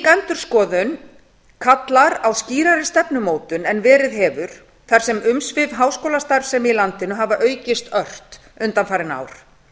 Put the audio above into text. endurskoðun kallar á skýrari stefnumótun en verið hefur þar sem umsvif háskólastarfsemi í landinu hafa aukist ört undanfarin ár